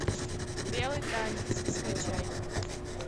белый танец скачай